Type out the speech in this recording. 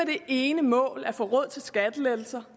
det ene mål at få råd til skattelettelser